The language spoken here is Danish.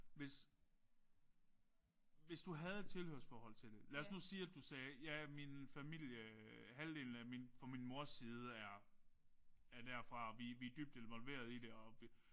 Hvis hvis du havde et tilhørsforhold til det. Lad os nu sige at du nu sagde ja min familie halvdelen af fra min mors familie er er derfra og vi vi er dybt involverede i det og